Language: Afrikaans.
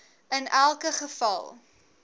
in elke geval